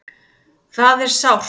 Það er sárt